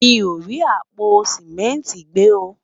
mí o rí àpò simẹnti gbe o